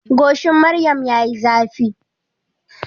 Goshin maryam yayi zafi.